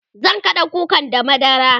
zan kaɗa kukan da madara